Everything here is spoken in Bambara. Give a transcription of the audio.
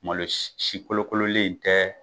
Malo si kolokololen in tɛ